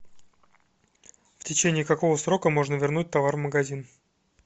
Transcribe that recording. в течении какого срока можно вернуть товар в магазин